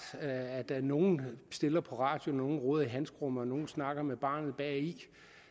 at der er nogle der stiller på radioen nogle roder i handskerummet og nogle snakker med barnet bagi